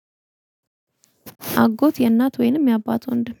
አጎት የእናት ወይንም የአባት ወንድም